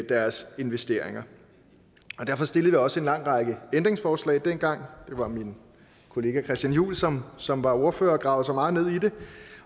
deres investeringer derfor stillede vi også en lang række ændringsforslag dengang det var min kollega christian juhl som som var ordfører og gravede sig meget ned i det